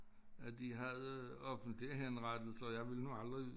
At de havde offentlige henrettelser jeg ville nu aldrig